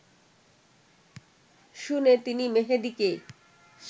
শুনে তিনি মেহেদীকে